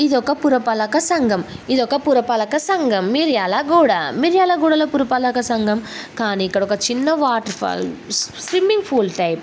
ఇది ఒక పురపాలక సంఘం. ఇది ఒక పురపాలక సంఘం. మిరియాల గూడా. మిర్యాలగూడలో పురపాలక సంఘం కానీ ఇక్కడ ఒక చిన్న water falls swimming pool type --